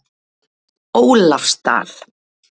Ólafsdal